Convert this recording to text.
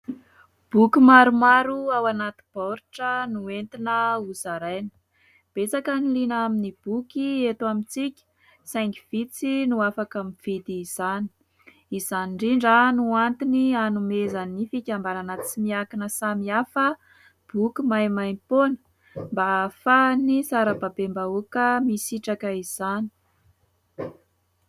Boky maromaro ao anaty baoritra entina ho zaraina. Betsaka ny liana amin'ny boky eto amintsika saingy vitsy no afaka mividy izany. Izany indrindra no antony anomezan'ny fikambanana tsy miankina samihafa boky maimaimpoana mba ahafahan'ny sarababem-bahoaka misitraka izany.